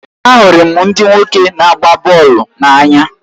Ahụrụ m ndị nwoke na-agba bọọlụ n'anya